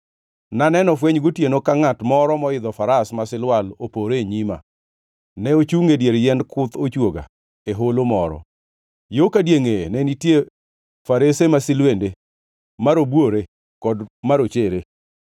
Naneno fweny gotieno ka ngʼat moro moidho faras ma silwal opore e nyima. Ne ochungʼ e dier yiend kuth ochwoga, e holo moro. Yo ka diengʼeye ne nitie farese masilwende, marobuore kod marochere.